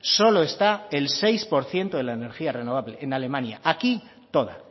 solo está el seis por ciento de la energía renovable en alemania aquí toda